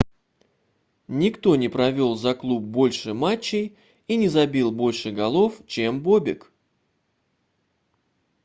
никто не провел за клуб больше матчей и не забил больше голов чем бобек